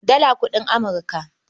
Dala kuɗin Amurka.